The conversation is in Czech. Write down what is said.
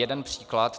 Jeden příklad.